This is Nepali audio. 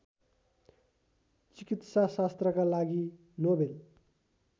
चिकित्साशास्त्रका लागि नोवेल